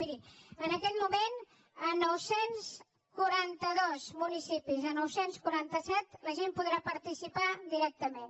miri en aquest moment a nou cents i quaranta dos municipis a nou cents i quaranta set la gent hi podrà participar directament